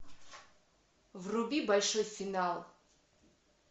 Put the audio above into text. вруби большой финал